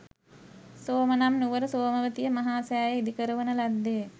සෝම නම් නුවර සෝමවතිය මහා සෑය ඉදිකරවන ලද්දේ